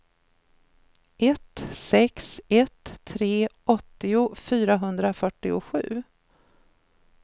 ett sex ett tre åttio fyrahundrafyrtiosju